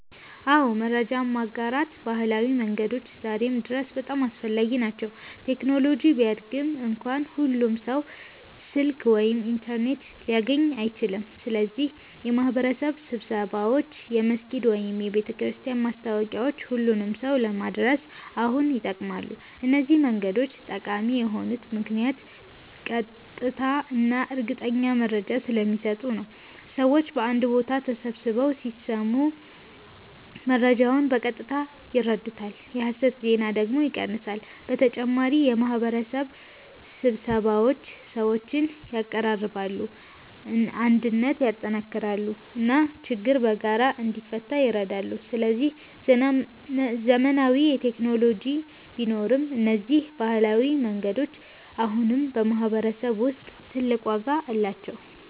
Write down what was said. አዎ፣ መረጃ የማጋራት ባህላዊ መንገዶች ዛሬም ድረስ በጣም አስፈላጊ ናቸው። ቴክኖሎጂ ቢያድግም እንኳ ሁሉም ሰው ስልክ ወይም ኢንተርኔት ሊያገኝ አይችልም። ስለዚህ የማህበረሰብ ስብሰባዎች፣ የመስጊድ ወይም የቤተክርስቲያን ማስታወቂያዎች ሁሉንም ሰው ለመድረስ አሁንም ይጠቅማሉ። እነዚህ መንገዶች ጠቃሚ የሆኑት ምክንያት ቀጥታ እና እርግጠኛ መረጃ ስለሚሰጡ ነው። ሰዎች በአንድ ቦታ ተሰብስበው ሲሰሙ መረጃውን በቀጥታ ይረዱታል፣ የሐሰት ዜና ደግሞ ይቀንሳል። በተጨማሪ የማህበረሰብ ስብሰባዎች ሰዎችን ያቀራርባሉ፣ አንድነትን ያጠናክራሉ እና ችግር በጋራ እንዲፈታ ይረዳሉ። ስለዚህ ዘመናዊ ቴክኖሎጂ ቢኖርም እነዚህ ባህላዊ መንገዶች አሁንም በማህበረሰብ ውስጥ ትልቅ ዋጋ አላቸው።